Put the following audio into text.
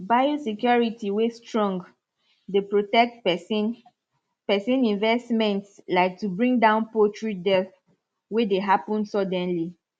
biosecurity way strong dey protect persin persin investments like to bring down poultry dealth way dey happen suddenly